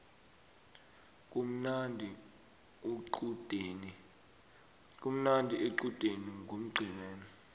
kumnandi ecudeni ngomgcibelo